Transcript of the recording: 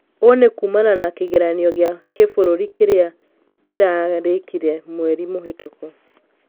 Ũũ nĩ kuũmana na kĩgeranio gĩa kĩbũrũri kĩrĩa kirarĩkire mwerĩ mũhitũkũ